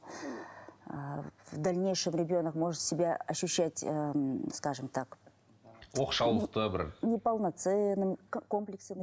ы в дальнейшем ребенок может себя ощущать ы скажем так оқшаулықты бір неполноценным комплексы